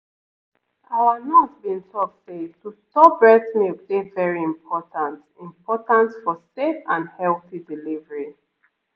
our nurse been talk say to store breast milk dey very important important for safe and healthy delivery